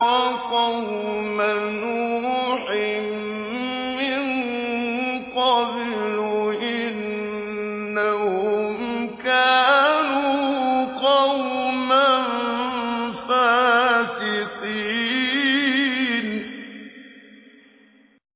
وَقَوْمَ نُوحٍ مِّن قَبْلُ ۖ إِنَّهُمْ كَانُوا قَوْمًا فَاسِقِينَ